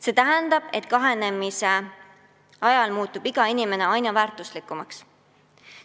See tähendab, et rahvastiku kahanemise ajal muutub iga inimene aina väärtuslikumaks.